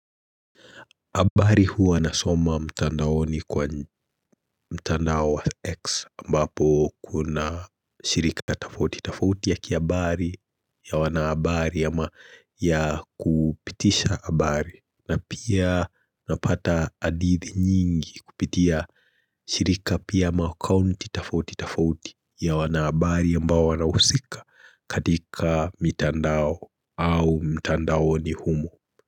Habari huu anasoma mtandaoni kwa mtandao wa X ambapo kuna shirika tofauti tofauti ya kihabari ya wanahabari ya ama ya kupitisha habari na pia napata hadithi nyingi kupitia shirika pia makaunti tafauti tafauti ya wanahabari ambao wanhausika katika mtandao au mtandaoni humo.